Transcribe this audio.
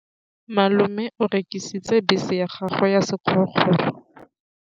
Malome o rekisitse bese ya gagwe ya sekgorokgoro.